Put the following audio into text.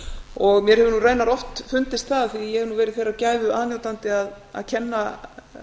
og mér hefur nú raunar oft fundist það því að ég hef nú verið þeirrar gæfu aðnjótandi að kenna